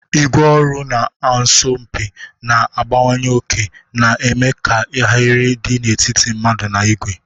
ígwè ọrụ na-asọ mpi, na-agbanye oke, na-eme ka ahịrị dị n'etiti mmadụ na igwe.